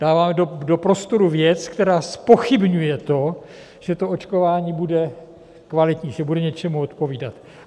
Dáváme do prostoru věc, která zpochybňuje to, že to očkování bude kvalitní, že bude něčemu odpovídat.